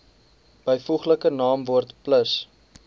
byvoeglike naamwoord plus